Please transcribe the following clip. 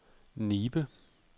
Nibe